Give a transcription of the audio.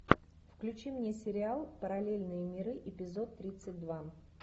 включи мне сериал параллельные миры эпизод тридцать два